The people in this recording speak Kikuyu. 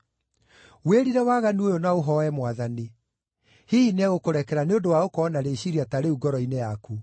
Wĩrire waganu ũyũ na ũhooe Mwathani. Hihi nĩegũkũrekera nĩ ũndũ wa gũkorwo na rĩciiria ta rĩu ngoro-inĩ yaku.